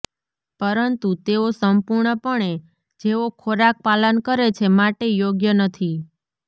પરંતુ તેઓ સંપૂર્ણપણે જેઓ ખોરાક પાલન કરે છે માટે યોગ્ય નથી